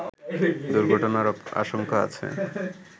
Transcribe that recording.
দুর্ঘটনার আশঙ্কা আছে